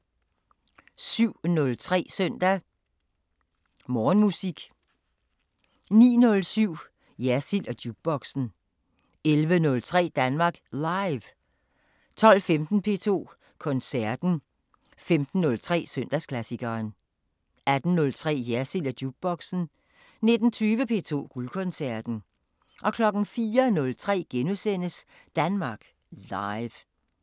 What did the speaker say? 07:03: Søndag Morgenmusik 09:07: Jersild & Jukeboxen 11:03: Danmark Live 12:15: P2 Koncerten 15:03: Søndagsklassikeren 18:03: Jersild & Jukeboxen 19:20: P2 Guldkoncerten 04:03: Danmark Live *